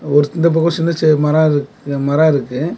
ஒரு இந்த பக்கம் சின்ன சின்ன மரம் இருக் மரம் இருக்கு.